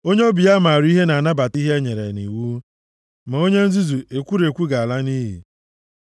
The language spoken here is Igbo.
Onye obi ya maara ihe na-anabata ihe e nyere nʼiwu, ma onye nzuzu ekwurekwu ga-ala nʼiyi.